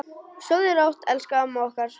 Sofðu rótt, elsku amma okkar.